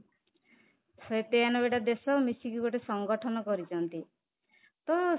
ଶହେ ତେୟାନବେ ଟା ଦେଶ ମିଶିକି ଗୋଟେ ସଂଗଠନ କରିଛନ୍ତି ତ